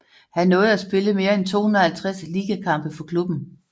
Han nåede at spille mere end 250 ligakampe for klubben